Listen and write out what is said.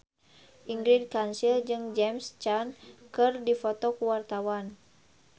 Ingrid Kansil jeung James Caan keur dipoto ku wartawan